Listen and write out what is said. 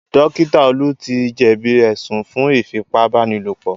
Dókítà Olú ti jẹ̀bí ẹ̀sùn fún Ífipá-báni-lòpọ̀